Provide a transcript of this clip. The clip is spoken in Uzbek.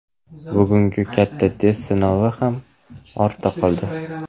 Bugungi katta test sinovi ham ortda qoldi.